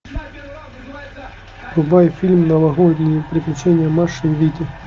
врубай фильм новогодние приключения маши и вити